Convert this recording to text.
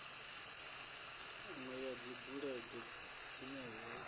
inwe ya dzibulege dzine hu